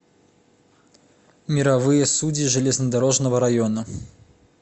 мировые судьи железнодорожного района